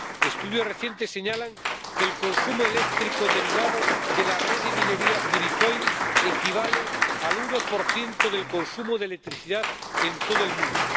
Estudios recientes señalan que el consumo eléctrico derivado de la red de minería del bitcoin equivale al 1 del consumo de electricidad en todo el mundo.